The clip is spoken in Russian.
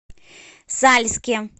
сальске